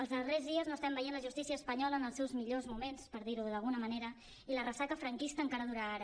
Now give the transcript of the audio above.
els darrers dies no estem veient la justícia espanyola en els seus millors moments per dir ho d’alguna manera i la ressaca franquista encara dura ara